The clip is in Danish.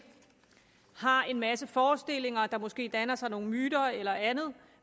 har en masse forestillinger og der måske danner sig nogle myter eller andet